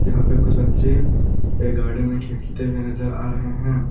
यहाँ पे कुछ बच्चे एक गार्डन में खेलते हुए नजर आ रहे हैं।